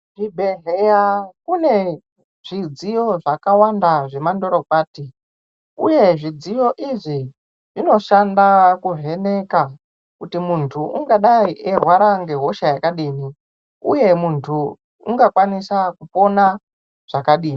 Kuzvibhehleya kune zvidziyo zvakawanda zvemandorokwati uye zvidziyo izvi zvinoshanda kuvheneka kuti muntu ungadai eirwara ngehosha yakadini uye muntu ungakwanisa kupona zvakadini